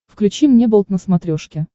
включи мне болт на смотрешке